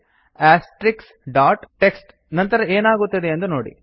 TXT ನಂತರ ಏನಾಗುತ್ತದೆಯೆಂದು ನೋಡಿ